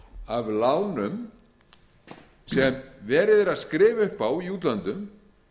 af lánum sem verið er að skrifa upp á í útlöndum